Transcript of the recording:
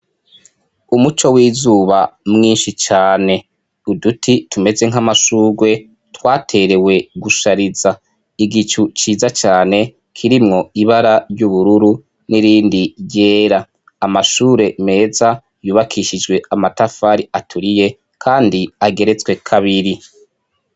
Umuco w'izuba mwinshi cane, uduti tumeze nk'amashugwe twaterewe gushariza, igicu ciza cyane kirimwo ibara ry'ubururu n'irindi yera. amashure meza yubakishijwe amatafari aturiye kandi ageretswe kabiri.